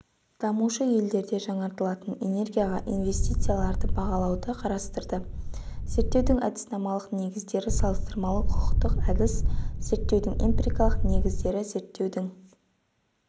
дамушы елдерде жаңартылатын энергияға инвестицияларды бағалауды қарастырды зерттеудің әдіснамалық негіздері салыстырмалы-құқықтық әдіс зерттеудің эмпирикалық негіздері зерттеудің